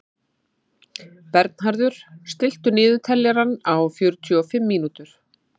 Bernharður, stilltu niðurteljara á fjörutíu og fimm mínútur.